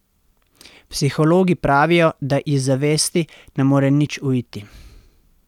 Psihologi pravijo, da iz zavesti ne more nič uiti.